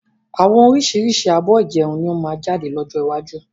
Àwọn oríṣiríṣi abọ́ ìjẹun ni ó máa jáde lọ́jọ́ iwájú